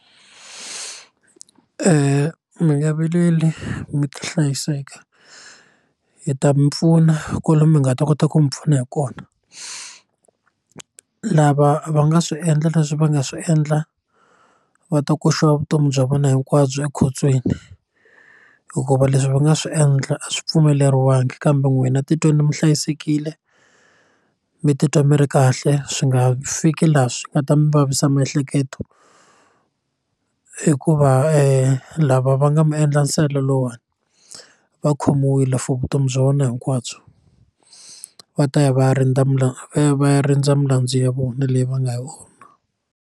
Mi nga vileli mi ta hlayiseka hi ta mi pfuna kwale mi nga ta kota ku mi pfuna hi kona lava va nga swi endla leswi va nga swi endla va ta koxiwa vutomi bya vona hinkwabyo ekhotsweni hikuva leswi va nga swi endla a swi pfumeleriwangi kambe n'wina titweni mi hlayisekile mi titwa mi ri kahle swi nga fiki laha swi nga ta mi vavisa miehleketo hikuva lava va nga mi endla nsele lowuwani va khomiwile for vutomi bya vona hinkwabyo va ta ya va ya rindza va ya va ya rindza milandzu ya vona leyi va nga yi .